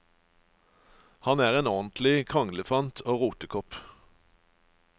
Han er en ordentlig kranglefant og rotekopp.